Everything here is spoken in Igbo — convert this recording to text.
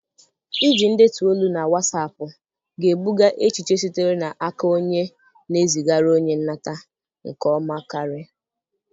Iji ndetu olu na Wassapụ ga-ebuga echiche sitere n'aka onye na-ezigara onye nnata nke ọma karị.